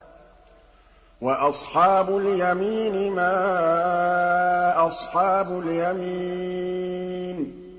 وَأَصْحَابُ الْيَمِينِ مَا أَصْحَابُ الْيَمِينِ